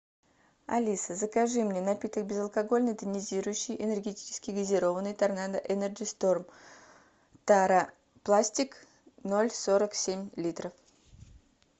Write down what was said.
алиса закажи мне напиток безалкогольный тонизирующий энергетический газированный торнадо энерджи сторм тара пластик ноль сорок семь литра